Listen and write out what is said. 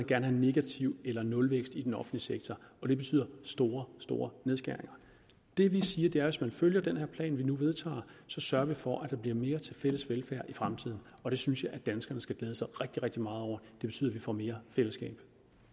gerne have negativ eller nulvækst i den offentlige sektor og det betyder store store nedskæringer det vi siger er at hvis man følger den plan vi nu vedtager så sørger vi for at der bliver mere til fælles velfærd i fremtiden og det synes jeg at danskerne skal glæde sig rigtig rigtig meget over det betyder at vi får mere fællesskab